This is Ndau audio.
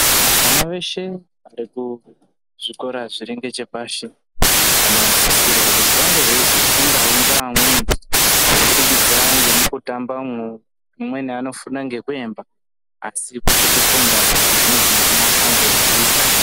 Vana veshe vari kuzvikora zviri ngechepashi vanosisirwa kuti vange veizofundawo ngeamweni kubudikidza nemukutamba umwu, amweni anofunda ngekuemba asi kweshe kufunda kunozi mwana ange eyiita.